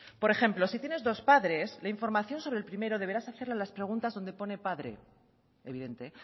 por ejemplo si tienes dos padres la información sobre el primero deberás hacerla las preguntas donde pone padre evidente